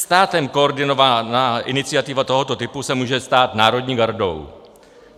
Státem koordinovaná iniciativa tohoto typu se může stát národní gardou.